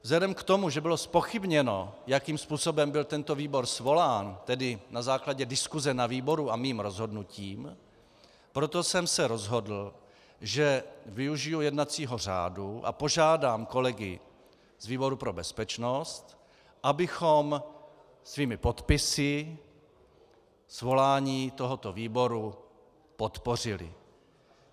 Vzhledem k tomu, že bylo zpochybněno, jakým způsobem byl tento výbor svolán, tedy na základě diskuse na výboru a mým rozhodnutím, proto jsem se rozhodl, že využiji jednacího řádu a požádám kolegy z výboru pro bezpečnost, abychom svými podpisy svolání tohoto výboru podpořili.